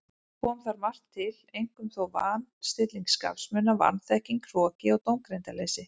Kom þar margt til, einkum þó van- stilling skapsmuna, vanþekking, hroki og dómgreindarleysi.